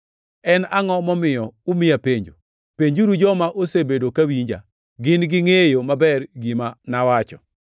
En angʼo momiyo umiya penjo? Penjuru joma osebedo ka winja. Gin gingʼeyo maber gima nawacho.”